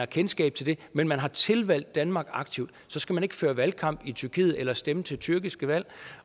kendskab til det men man har tilvalgt danmark aktivt og så skal man ikke føre valgkamp i tyrkiet eller stemme til tyrkiske valg